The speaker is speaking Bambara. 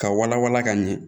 Ka wala wala ka ɲɛ